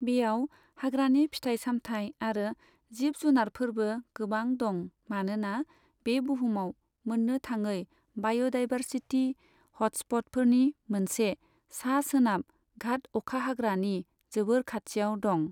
बेयाव हाग्रानि फिथाइ सामथाइ आरो जिब जुनारफोरबो गोबां दं मानोना बे बुहुमाव मोननो थाङै बाय'डायभारसिटि हटस्प'टफोरनि मोनसे, सा सोनाब घाट अखाहाग्रानि जोबोर खाथियाव दं।